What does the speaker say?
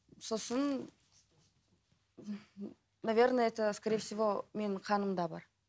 сосын наверное это в скорее всего менің қанымда бар